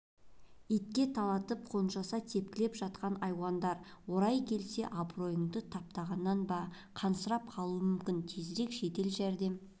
итке талатып қанжоса тепкілеп жатқан айуандар орайы келсе абыройыңды таптағаннан ба қансырап қалуы мүмкін тезірек жедел жәрдем